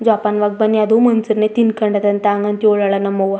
ಜೋಪಾನ್ ವಾಗಿ ಬನ್ನಿ ಅದು ಮನ್ ಷ್ಯನೇ ತ್ತಿನ್ ಕಂಡ ದಂತೆ ಹಂಗ್ ಅಂತ ಹೇಳೊವ್ವಳೇ ನಮ್ಮ್ ಅವ್ವ.